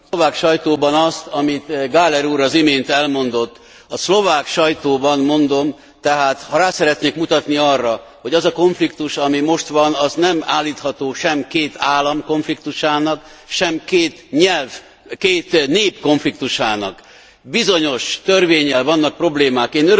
...a szlovák sajtóban azt, amit Gallagher úr az imént elmondott. A szlovák sajtóban, mondom tehát, ha rá szeretnék mutatni arra, hogy az a konfliktus, ami most van, az nem állítható sem két állam konfliktusának, sem két nép konfliktusának. Bizonyos törvénnyel vannak problémák.